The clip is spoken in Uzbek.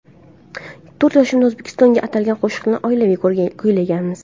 To‘rt yoshimda O‘zbekistonga atalgan qo‘shiqni oilaviy kuylaganmiz.